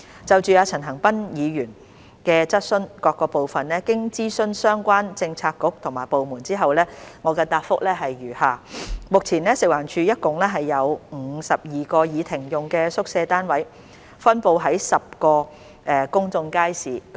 就陳恒鑌議員質詢的各部分，經諮詢相關政策局和部門後，我現答覆如下：一目前，食環署轄下共有52個已停用的宿舍單位，分布於10個公眾街市。